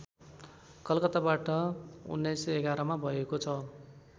कलकत्ताबाट १९११ मा भएको छ